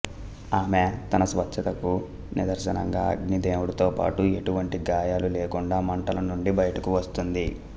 ఆమె తన స్వచ్ఛతకు నిదర్శనంగా అగ్ని దేవుడితో పాటు ఎటువంటి గాయాలు లేకుండా మంటల నుండి బయటకి వస్తుంది